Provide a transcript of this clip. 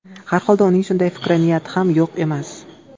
Har holda uning shunday fikri, niyati ham yo‘q emas.